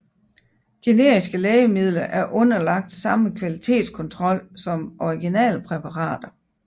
Generiske lægemidler er underlagt samme kvalitetskontrol som originalpræparater